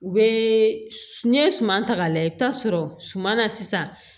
U bɛ n'i ye suman ta k'a lajɛ i bɛ taa sɔrɔ suma na sisan